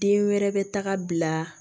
Den wɛrɛ bɛ taga bila